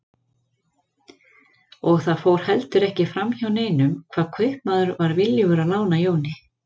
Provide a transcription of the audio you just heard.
Og það fór heldur ekki fram hjá neinum hvað kaupmaður var viljugur að lána Jóni.